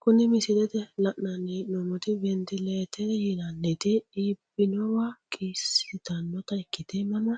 Kuni misilete la!nani heenomoti wintiletere yinaniti iibinowa qiisitanota ikite mama